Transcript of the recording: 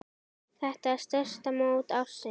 Þetta er stærsta mót ársins.